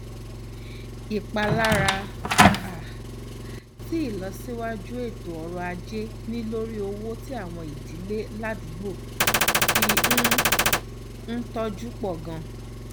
ìpalára um tí ìlọsíwájú ètò ọrọ ajé ní lórí owó tí àwọn ìdílé ládùúgbò fi um ń tọjú pọ ganan